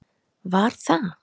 Var það